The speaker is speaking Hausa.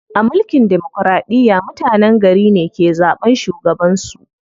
A mulkin demokiraɗiya, mutenen gari ne ke zaɓan shugaban su.